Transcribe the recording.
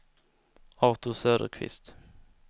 Artur Söderqvist